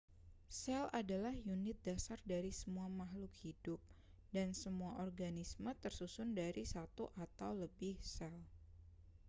sel adalah unit dasar dari semua makhluk hidup dan semua organisme tersusun dari satu atau lebih sel